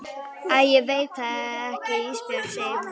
Æ ég veit það ekki Ísbjörg, segir hún.